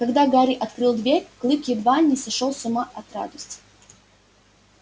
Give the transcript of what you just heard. когда гарри открыл дверь клык едва не сошёл с ума от радости